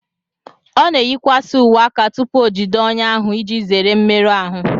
O na eyikwasị uwe aka tupu o jide ọnyà ahụ iji zere mmerụ ahụ